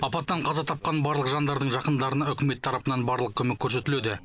апаттан қаза тапқан барлық жандардың жақындарына үкімет тарапынан барлық көмек көрсетіледі